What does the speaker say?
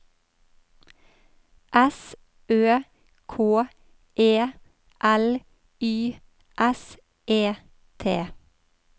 S Ø K E L Y S E T